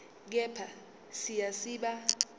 kepha siya siba